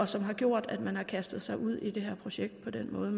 som har gjort at man har kastet sig ud i det her projekt på den måde